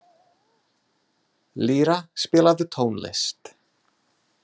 Lýra, spilaðu tónlist.